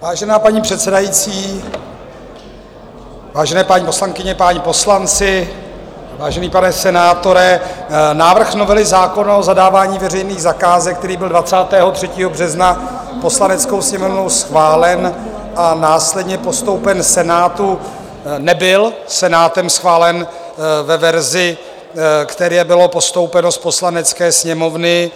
Vážená paní předsedající, vážené paní poslankyně, páni poslanci, vážený pane senátore, návrh novely zákona o zadávání veřejných zakázek, který byl 23. března Poslaneckou sněmovnou schválen a následně postoupen Senátu, nebyl Senátem schválen ve verzi, které bylo postoupeno z Poslanecké sněmovny,